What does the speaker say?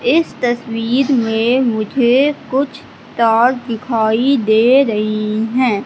इस तस्वीर में मुझे कुछ तार दिखाई दे रही हैं।